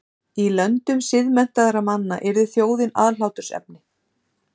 Í löndum siðmenntaðra manna yrði þjóðin aðhlátursefni.